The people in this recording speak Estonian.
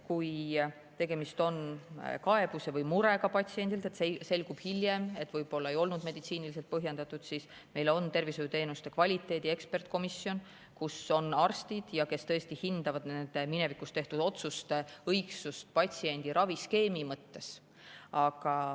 Kui tegemist on patsiendi kaebuse või murega ja selgub hiljem, et võib-olla ravim ei olnud meditsiiniliselt põhjendatud, siis meil on tervishoiuteenuste kvaliteedi ekspertkomisjon, kus on arstid, es hindavad nende tehtud otsuste õigsust patsiendi raviskeemi mõttes.